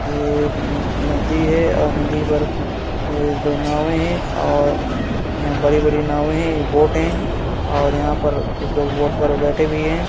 ये एक न नदी है और नदी पर ए दो नावें हैं और यहाँ बड़ी-बड़ी नावें है ये बोट है और यहाँ पर कुछ लोग बोट पर बैठे भी हैं।